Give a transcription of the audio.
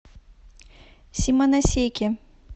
симоносеки